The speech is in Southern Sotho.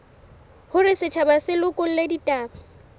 hore setjhaba se lekole ditaba